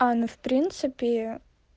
а ну в принципе